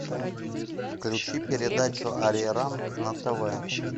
включи передачу ариранг на тв